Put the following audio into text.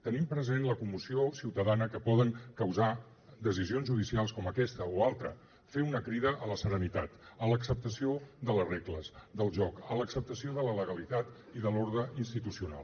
tenint present la commoció ciutadana que poden causar decisions judicials com aquesta o altra fer una crida a la serenitat a l’acceptació de les regles del joc a l’acceptació de la legalitat i de l’ordre institucional